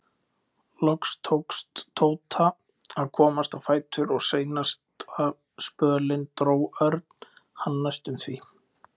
Loks tókst Tóta að komast á fætur og seinasta spölinn dró Örn hann næstum því.